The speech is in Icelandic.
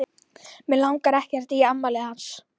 Mig langar ekkert í afmælið hans.